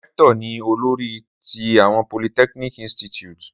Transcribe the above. Rector ni olori ti a polytechnic Institute.